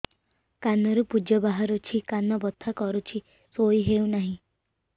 କାନ ରୁ ପୂଜ ବାହାରୁଛି କାନ ବଥା କରୁଛି ଶୋଇ ହେଉନାହିଁ